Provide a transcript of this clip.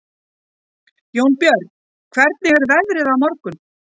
Jónbjörn, hvernig er veðrið á morgun?